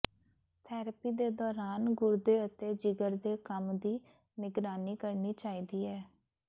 therapy ਦੇ ਦੌਰਾਨ ਗੁਰਦੇ ਅਤੇ ਜਿਗਰ ਦੇ ਕੰਮ ਦੀ ਨਿਗਰਾਨੀ ਕਰਨੀ ਚਾਹੀਦੀ ਹੈ